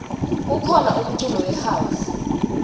kukhona umculo we house